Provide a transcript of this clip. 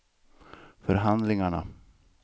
förhandlingarna